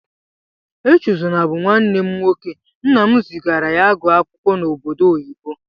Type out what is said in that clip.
Echezona bú nwanne m nwoke, nnam zigara ya ịgụ akwụkwọ n'obodo oyibo.